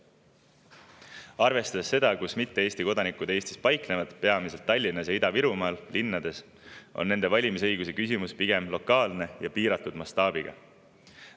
Arvestades seda, kus mitte Eesti kodanikud Eestis paiknevad, peamiselt Tallinnas ja Ida-Virumaal, linnades, on nende valimisõiguse küsimus pigem lokaalne ja piiratud mastaabiga.